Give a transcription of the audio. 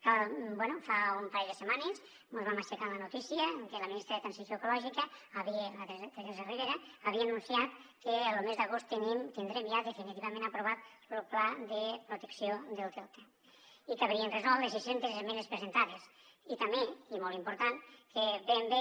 que bé fa un parell de setmanes mos vam aixecar amb la notícia que la ministra de transició ecològica teresa ribera havia anunciat que lo mes d’agost tindrem ja definitivament aprovat lo pla de protecció del delta i quedarien resoltes les sis centes esmenes presentades i també i molt important que ben bé